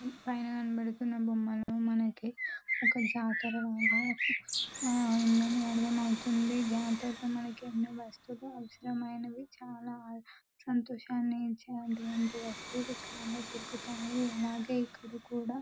పైన కింద బొమ్మలు మనకి ఒక బిల్డింగ్ కనబడుతుంది.ఆ బిల్డింగ్ పేరు Nilagiri the grand PG college అని మనకి కనపడుతుంది.బోర్డ్ కుడా--